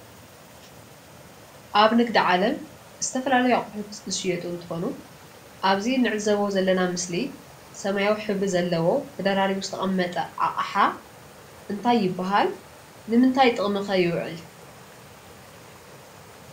ኣብ ንግዲ ዓለም ዝተፈላለዩ ኣቕሑ ዝሽየጡ እንትኾኑ ኣብዚ ንዕዘቦ ዘለና ምስሊ ሰማያዊ ሕብሪ ዘለዎ ደረራቡ ዝተቐመጠ ኣቕሓ እንታይ ይባሃል? ንምንታይ ጥቕሚ ኸ ይውዕል?